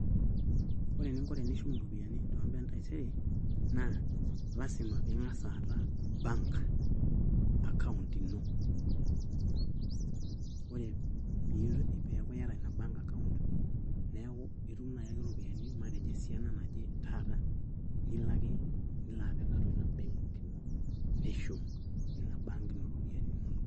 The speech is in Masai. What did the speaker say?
Ore eningo tenishum iropiyiani tombaa entaisere, naa lasima piing'as aata bank account ino. Ore peeku iyata ina bank account, neeku itum naai ake ropiyinai matejo esiana naje taata nilo ake nilo apik atua ina benki ino nishum tina bank ino ropiyiani inonok.